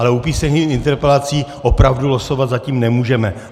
Ale u písemných interpelací opravdu losovat zatím nemůžeme.